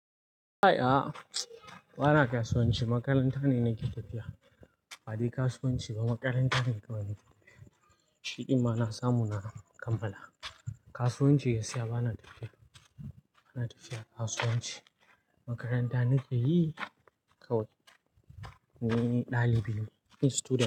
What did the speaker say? A'a, bana kasuwanci. A'a, bana kasuwanci. Makaranta ne nake tafiya. Ba dai kasuwanci ba Makaranta ne nake tafiya, shi din ma na samu na kammala kasuwanci gaskiya bana tafiya. Ina tafiya kasuwanci makaranta nake yi kawai. Ni dalibi ne. Ni student ne.